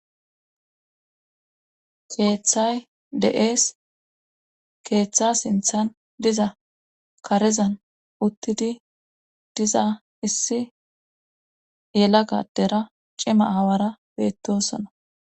Keeththay de7ees keeththa sinthan diza karezan uttidi diza issi yela gadera cima aawara beettosona